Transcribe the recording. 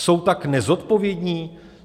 Jsou tak nezodpovědní?